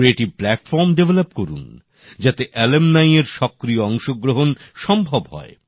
সৃজনশীল প্লাটফর্ম তৈরি করুন যাতে প্রাক্তনীদের সক্রিয় অংশগ্রহণ সম্ভব হয়